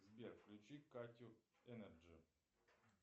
сбер включи катю энерджи